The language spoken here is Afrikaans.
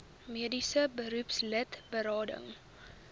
mediese beroepslid berading